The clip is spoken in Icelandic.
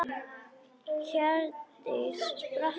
Hjördís spratt á fætur.